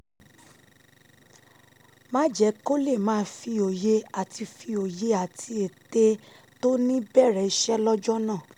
má jẹ́ kó lè máa fi òye àti fi òye àti ète tó ní bẹ̀rẹ̀ iṣẹ́ lọ́jọ́ náà